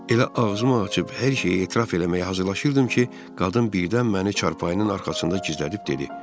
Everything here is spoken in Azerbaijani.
Elə ağzımı açıb hər şeyi etiraf eləməyə hazırlaşırdım ki, qadın birdən məni çarpayının arxasında gizlədib dedi: